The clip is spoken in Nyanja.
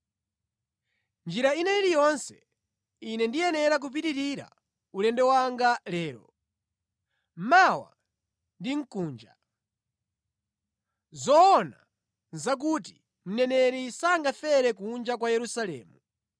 Mʼnjira ina iliyonse, Ine ndiyenera kupitirira ulendo wanga lero, mawa ndi mkuja. Zoona nʼzakuti mneneri sangafere kunja kwa Yerusalemu.